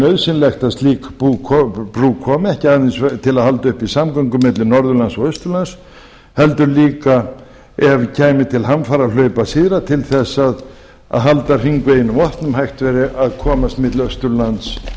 nauðsynlegt að slík brú komi ekki aðeins til að halda uppi samgöngum milli norðurlands og austurlands heldur líka ef kæmi til hamfarahlaupa syðra til þess að halda hringveginum opnum hægt verði að komast milli austurlands